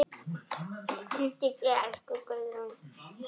Hvíldu í friði, elsku Guðrún.